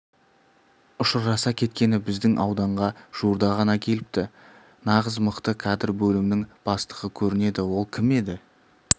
ұшыраса кеткені біздің ауданға жуырда ғана келіпті нағыз мықты кадр бөлімінің бастығы көрінеді ол кім еді